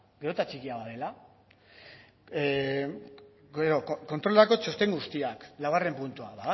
gero eta txikiagoa dela gero kontrolerako txosten guztiak laugarren puntua